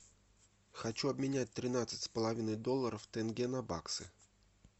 хочу обменять тринадцать с половиной долларов тенге на баксы